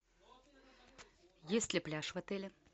есть ли пляж в отеле